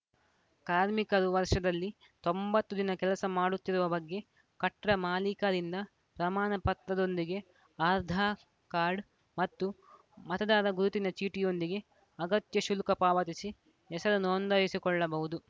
ಕಾರ್ಮಿಕರು ವರ್ಷದಲ್ಲಿ ತೊಂಬತ್ತು ದಿನ ಕೆಲಸ ಮಾಡುತ್ತಿರುವ ಬಗ್ಗೆ ಕಟ್ಡ ಮಾಲೀಕರಿಂದ ಪ್ರಮಾಣ ಪತ್ರದೊಂದಿಗೆ ಆಧಾರ್‌ ಕಾರ್ಡ್‌ ಮತ್ತು ಮತದಾರ ಗುರುತಿನ ಚೀಟಿಯೊಂದಿಗೆ ಅಗತ್ಯ ಶುಲ್ಕ ಪಾವತಿಸಿ ಹೆಸರು ನೋಂದಾಯಿಸಿಕೊಳ್ಳಬಹುದು